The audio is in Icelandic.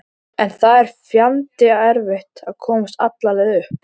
En það er fjandi erfitt að komast alla leið upp.